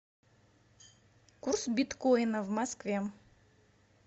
курс биткоина в москве